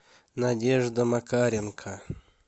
надежда макаренко